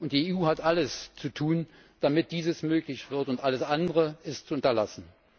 Die EU hat alles zu tun, damit dies möglich wird, und alles andere ist zu unterlassen.